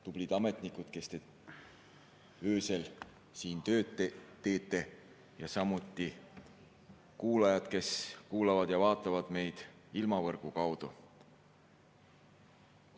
Tublid ametnikud, kes te öösel siin tööd teete, ja samuti kuulajad, kes kuulavad ja vaatavad meid ilmavõrgu kaudu!